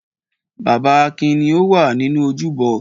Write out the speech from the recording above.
Bàbá Akin ni ó wà nínú ojúbọ.